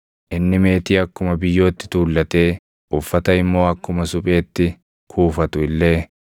Inni meetii akkuma biyyootti tuullatee uffata immoo akkuma supheetti kuufatu illee,